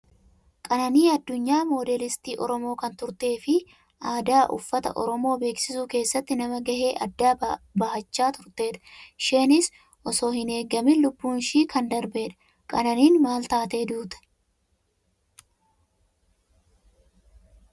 Qananii Addunyaa moodelistii Oromoo kan turtee fi aadaa uffata Oromoo beeksisuu keessatti nama gahee addaa bahachaa turtee dha. Isheenis osoo hin eegamin lubbuun ishee kan darbee dha. Qananiin maal taatee duute?